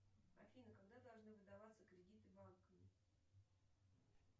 афина когда должны выдаваться кредиты банками